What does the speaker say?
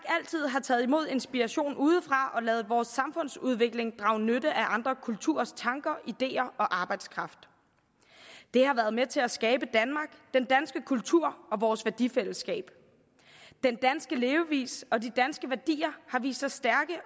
har taget imod inspiration udefra og ladet vores samfundsudvikling drage nytte af andre kulturers tanker ideer og arbejdskraft det har været med til at skabe danmark den danske kultur og vores værdifællesskab den danske levevis og de danske værdier har vist sig stærke